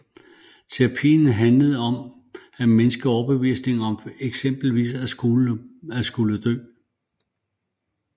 Terapien handler om at mindske overbevisningen om eksempelvis at skulle dø